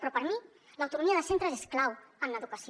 però per a mi l’autonomia de centres és clau en educació